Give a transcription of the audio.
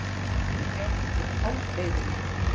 Þau eru gerð úr hálfleiðurum.